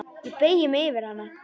Ég beygi mig yfir hana.